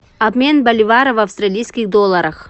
обмен боливара в австралийских долларах